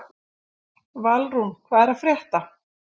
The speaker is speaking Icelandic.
Valrún, hvað er að frétta?